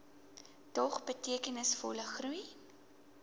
dog betekenisvolle groei